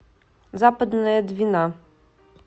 западная двина